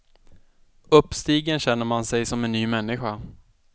Uppstigen känner man sig som en ny människa.